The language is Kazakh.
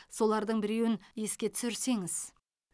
солардың біреуін еске түсірсеңіз